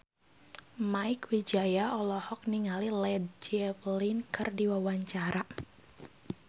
Mieke Wijaya olohok ningali Led Zeppelin keur diwawancara